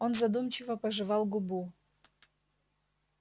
он задумчиво пожевал губу